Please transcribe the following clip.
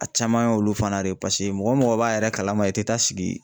A caman ye olu fana de ye, paseke mɔgɔ mɔgɔ b'a yɛrɛ kalama i tɛ taa sigi